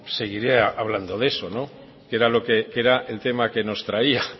seguiré hablando de eso que era el tema que nos traía